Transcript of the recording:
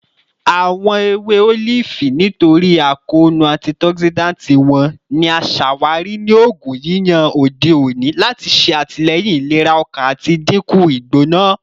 Awọn ewe olifi, nitori akoonu antioxidant wọn, ni a ṣawari ni oogun yiyan ode oni lati ṣe atilẹyin ilera ọkan ati dinku igbona